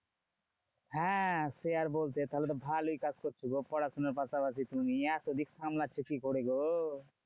হ্যাঁ সে আর বলতে তাহলে তো ভালোই কাজ করছো গো। পড়াশোনার পাশাপাশি তুমি এত দিক সামলাচ্ছো কি করে গো?